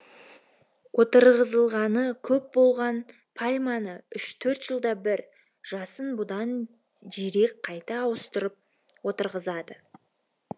отырғызылғаны көп болған пальманы үш төрт жылда бір жасын бұдан жирек қайта ауыстырып отырғызады